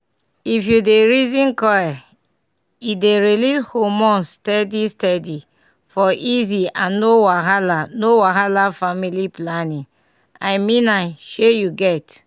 if u dey reason coil e dey release hormones steady steady --for easy and no wahala no wahala family planning i mean am shey u get?